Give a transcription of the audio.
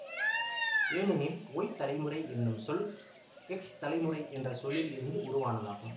ஏனெனில் ஒய் தலைமுறை என்னும் சொல் எக்ஸ் தலைமுறை என்ற சொல்லில் இருந்து உருவானதாகும்